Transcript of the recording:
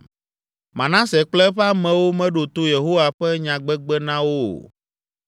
Manase kple eƒe amewo meɖo to Yehowa ƒe nyagbegbe na wo o